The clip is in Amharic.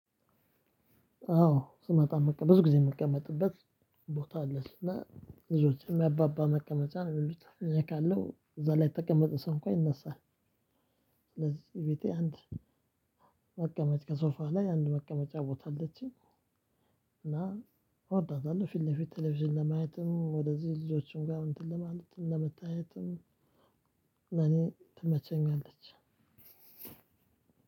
አዎ ስመጣ ብዙ ጊዜ የምቀመጥበት ቦታ አለች እና ይዞች የሚያባባ መቀመጫ ነው የሚሉት። እዛ ላይ የተቀመጠ ሰው እንኳን ይነሳል። ስለዚህ ቤቴ አንድ መቀመጫ ሶፋ ላይ አንድ መቀመጫ ቦታ አለችኝ። እና እወዳታለሁ ፊት ለፊት ቴሌቪዥን ለማየትም ወደዚህ ልጆችን ጋር እንትን ለማለትም ለመታየትም። እኔ ትመቸኛለች።